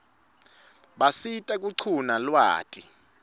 basisita kuquna lwati